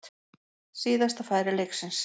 Síðasta færi leiksins.